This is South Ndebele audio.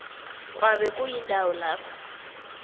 kwabe kuyindawo lapha